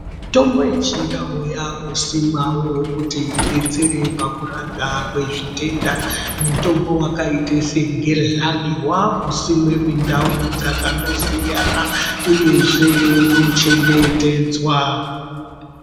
Mitombo yechindau yakusimwavo kuti ibetsere pakurapa kwezvitenda. Mutombo vakaita segezhani vakusimwa mundau dzakandosiyana uyezve unochengetedzwa.